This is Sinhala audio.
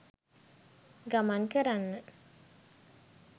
ගමන් කරන්න.